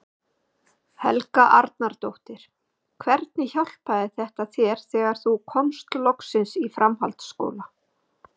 Helga Arnardóttir: Hvernig hjálpaði þetta þér þegar þú komst loksins í framhaldsskóla?